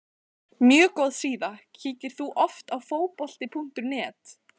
mjög góð síða Kíkir þú oft á Fótbolti.net?